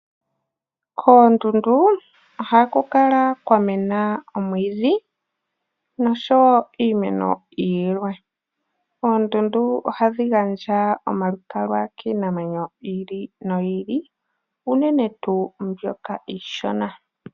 Koondundu ohaku kala kwa mena omwiidhi nosho wo iimeno yilwe. Oondundu ohadhi gandja omalukalwa kiinamwenyo yi ili noyi ili unene tuu mbyoka iishona.